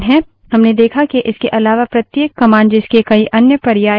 हमने देखा के इसके अलावा प्रत्येक commands जिसके कई अन्य पर्याय options है